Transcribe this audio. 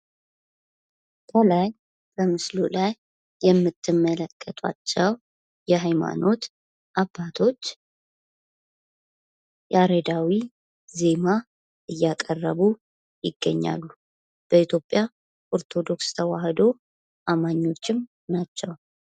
ከላይ በምስሉ ላይ የምትመለከቷቸው የሀይማኖት አባቶች ያሬዳዊ ዜማ እያቀረቡ ይገኛሉ። በኢትዮጵያ ኦርቶዶክስ ተዋህዶ አማኞችም ናቸው።